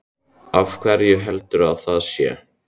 Af hverju heldurðu að það sé?